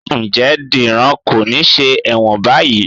Ǹjẹ́ Dìran kò ní ṣe ẹ̀wọ̀n báyìí?